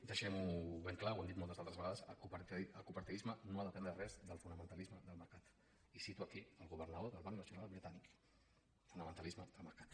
deixem ho ben clar ho he dit moltes altres vegades el cooperativisme no ha d’aprendre res del fonamentalisme del mercat i cito aquí el governador del banc nacional britànic fonamentalisme del mercat